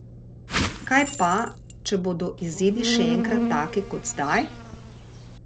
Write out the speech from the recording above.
Kak pa, če bodo izidi še enkrat taki kot zdaj?